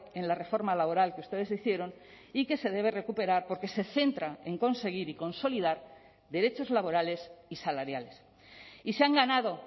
en la reforma laboral que ustedes hicieron y que se debe recuperar porque se centra en conseguir y consolidar derechos laborales y salariales y se han ganado